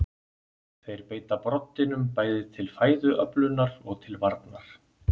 þeir beita broddinum bæði til fæðuöflunar og til varnar